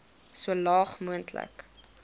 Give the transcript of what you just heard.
so laag moontlik